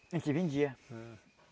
A gente vendia.